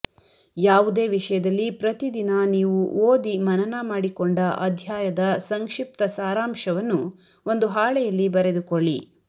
ಯಾವುದೇ ವಿಷಯದಲ್ಲಿ ಪ್ರತಿದಿನ ನೀವು ಓದಿ ಮನನ ಮಾಡಿಕೊಂಡ ಅಧ್ಯಾಯದ ಸಂಕ್ಷಿಪ್ತ ಸಾರಾಂಶವನ್ನು ಒಂದು ಹಾಳೆಯಲ್ಲಿ ಬರೆದುಕೊಳ್ಳಿ